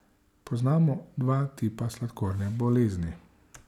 Poznamo dva tipa sladkorne bolezni.